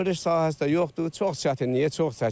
Örüş sahəsi də yoxdur, çox çətinliyə, çox çəkinir.